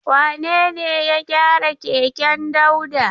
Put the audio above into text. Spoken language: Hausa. Wane ne ya gyara keken Dauda?